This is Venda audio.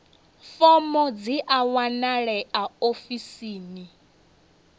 fomo dzi a wanalea ofisini